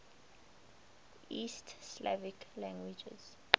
east slavic languages